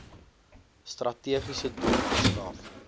strategiese doel verskaf